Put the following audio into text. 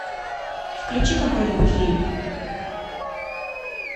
включи какой нибудь фильм